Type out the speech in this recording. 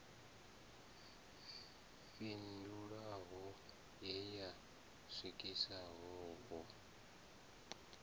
fhindulwaho ye ya swikiswa hu